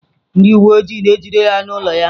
Ndị uwe ojii na-ejide ya n'ụlọ ya.